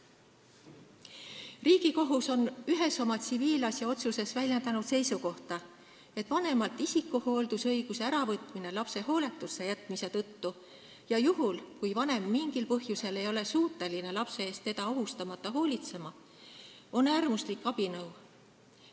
Riigikohus on ühes oma tsiviilasjaotsuses väljendanud seisukohta, et vanemalt isikuhooldusõiguse äravõtmine lapse hooletusse jätmise tõttu ja juhul, kui vanem mingil põhjusel ei ole suuteline lapse eest teda ohustamata hoolitsema, on äärmuslik abinõu.